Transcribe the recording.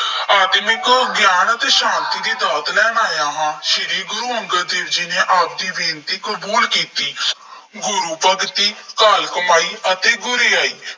ਆਤਮਿਕ ਗਿਆਨ ਅਤੇ ਸ਼ਾਂਤੀ ਦੀ ਦਾਤ ਲੈਣ ਆਇਆ ਹਾਂ। ਸ਼੍ਰੀ ਗੁਰੂ ਅੰਗਦ ਦੇਵ ਜੀ ਨੇ ਆਪ ਦੀ ਬੇਨਤੀ ਕਬੂਲ ਕੀਤੀ। ਗੁਰੂ ਭਗਤੀ ਘਾਲ ਕਮਾਈ ਅਤੇ ਗੁਰਿਆਈ